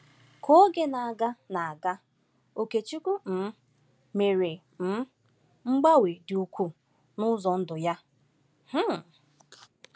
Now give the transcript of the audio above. Ka oge na-aga, na-aga, Okechukwu um mere um mgbanwe dị ukwuu n’ụzọ ndụ ya. um